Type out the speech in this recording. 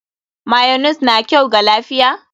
Mayonnaise na kyau ga lafiya?